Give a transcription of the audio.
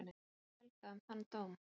Hvað fannst Helga um þann dóm?